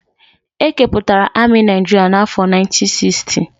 E kepụtara amị Naijiria n'afọ 1960.